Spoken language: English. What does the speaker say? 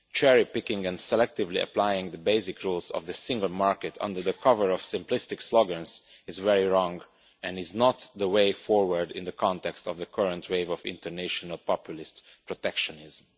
Cherry picking and selectively applying the basic rules of the single market under the cover of simplistic slogans is very wrong and is not the way forward in the context of the current wave of international populist protectionism.